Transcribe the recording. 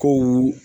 Ko